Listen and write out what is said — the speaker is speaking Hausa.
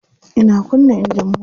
Ina kunna engine mota.